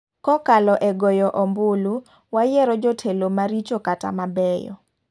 Kokalo e goyo ombulu, wayiro jotelo maricho kata mabeyo .